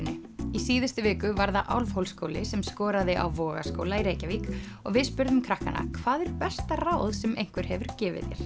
í síðustu viku var það Álfhólsskóli sem skoraði á Vogaskóla í Reykjavík og við spurðum krakkana hvað er besta ráð sem einhver hefur gefið þér